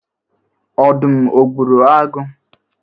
Ọdụm o gburu agụ?